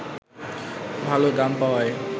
ভাল দাম পাওয়ায়